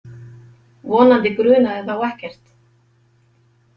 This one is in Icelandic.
Vonandi grunaði þá ekkert.